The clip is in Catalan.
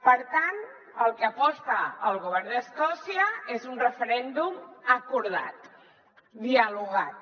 per tant pel que aposta el govern d’escòcia és per un referèndum acordat dialogat